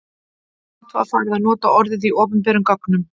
Samt var farið að nota orðið í opinberum gögnum.